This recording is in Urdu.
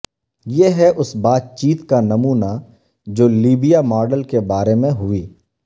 یہ ہے اس بات چیت کا نمونہ جو لیبیا ماڈل کے بارے میں ہوئی